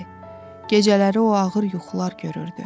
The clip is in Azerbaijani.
Gecələri o ağır yuxular görürdü.